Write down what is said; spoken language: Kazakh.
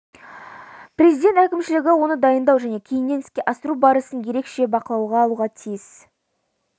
президент әкімшілігі оны дайындау және кейіннен іске асыру барысын ерекше бақылауға алуға тиіс